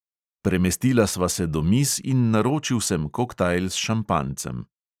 Premestila sva se do miz in naročil sem koktajl s šampanjcem.